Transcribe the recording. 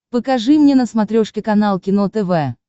покажи мне на смотрешке канал кино тв